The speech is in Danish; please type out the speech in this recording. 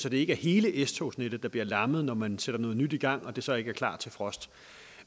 at det ikke er hele s togsnettet der bliver lammet når man sætter noget nyt i gang og det så ikke er klar til frost